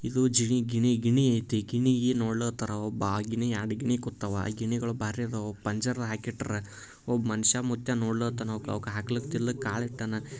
ಇದೂ ಜೆನಿ ಗಿಣಿ ಗಿಣಿ ಐತಿ ಗಿಣಿಗಿ ನೋಡ್ಲಿಕ್ ಹತ್ತನ ಒಬ್ಬಾ ಆ ಗಿಣಿ ಎರಡ್ ಗಿಣಿ ಕುತ್ತಾವ. ಆ ಗಿಣಿಗಳ್ ಬಾರೀ ಅದಾವು ಪಂಜರದಾಗ್ ಹಾಕಿಟ್ಟಾರ. ಒಬ್ಬ ಮನ್ಸ ಮುತ್ಯ ನೋಡ್ಲಕ್ಕತ್ತಾನಾ. ಅವ್ಕ್ ಆಗ್ತಿಲ್ ಕಾಳ್ ಇಟ್ಟಾನ.